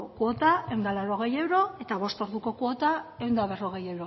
kuota ehun eta laurogei euro eta bost orduko kuota ehun eta berrogei